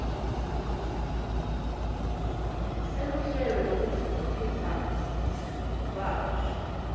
seluhlelo lwekutfutfukisa kabusha